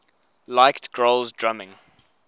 liked grohl's drumming